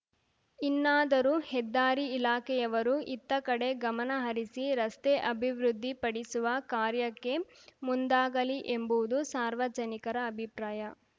ಇನ್ನಾದರೂ ಹೆದ್ದಾರಿ ಇಲಾಖೆಯವರು ಇತ್ತ ಕಡೆ ಗಮನ ಹರಿಸಿ ರಸ್ತೆ ಅಭಿವೃದ್ದಿ ಪಡಿಸುವ ಕಾರ್ಯಕ್ಕೆ ಮುಂದಾಗಲಿ ಎಂಬುವುದು ಸಾರ್ವಜನಿಕರ ಅಭಿಪ್ರಾಯ